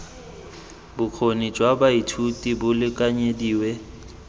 bokgoni jwa baithuti bo lekanyediwe